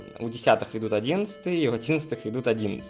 у десятых ведут одиннадцатые у одиннадцатых ведут